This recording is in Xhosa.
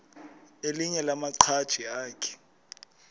elinye lamaqhaji akhe